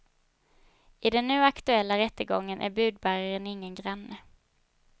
I den nu aktuella rättegången är budbäraren ingen granne.